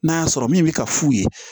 N'a y'a sɔrɔ min bi ka f'u ye